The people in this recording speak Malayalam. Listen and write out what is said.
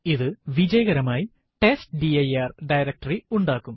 ഇത് വിജയകരമായി ടെസ്റ്റ്ഡിർ ഡയറക്ടറി ഉണ്ടാക്കും